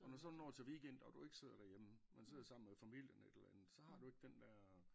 Og når du så når til weekend og du ikke sidder derhjemme men sidder sammen med familien eller et eller andet så har du ikke den dér